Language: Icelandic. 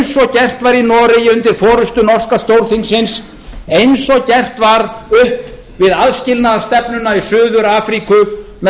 gert var í noregi undir forustu norska stórþingsins eins og gert var upp við aðskilnaðarstefnuna í suður afríku með